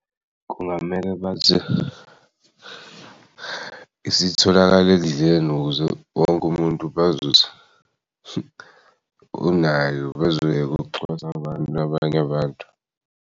Kungamele bathi esitholakal'ekudleni ukuze wonke umuntu bazuze unayo bazoye'kucwasana nabanye abantu.